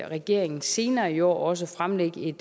regeringen senere i år også fremlægge et